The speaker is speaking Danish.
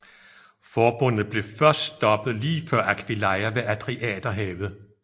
Forbundet blev først stoppet lige før Aquileia ved Adriaterhavet